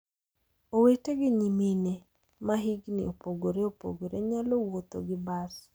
Owete gi nyimine ma hikgi opogore opogore nyalo wuotho gi bas.